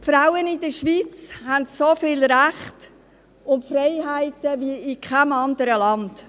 Die Frauen in der Schweiz haben so viele Rechte und Freiheiten wie in keinem anderen Land.